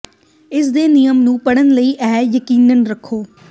ਇਸ ਦੇ ਨਿਯਮ ਨੂੰ ਪੜ੍ਹਨ ਲਈ ਇਹ ਯਕੀਨੀ ਰਹੋ